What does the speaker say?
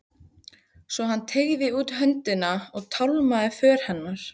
Svo hann teygði út höndina og tálmaði för hennar.